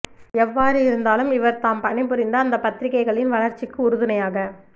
எவ்வாறு இருந்தாலும் இவர் தாம் பணிபுரிந்த அந்தப் பத்திரிகைகளின் வளர்ச்சிக்கு உறுதுணையாக